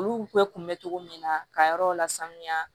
Olu bɛɛ kun bɛ cogo min na ka yɔrɔw lasanuya